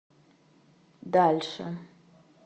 дальше